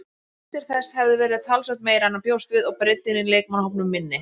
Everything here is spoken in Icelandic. Skuldir þess hefðu verið talsvert meiri en hann bjóst við og breiddin í leikmannahópnum minni.